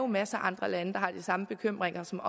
masser af andre lande der har de samme bekymringer som